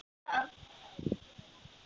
Þar búa þau enn.